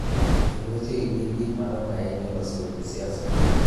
Kendo wechegi gin gik madongo ahinya e loso weche siasa.